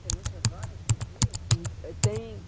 Tem muitas horas por dia? hum, eh tem